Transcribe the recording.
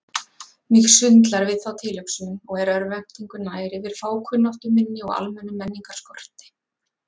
Mig sundlar við þá tilhugsun og er örvæntingu nær yfir fákunnáttu minni og almennum menningarskorti.